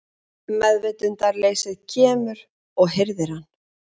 Meðvitundarleysið kemur og hirðir hann.